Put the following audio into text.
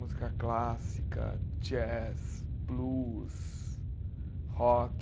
Música clássica, jazz, blues, rock...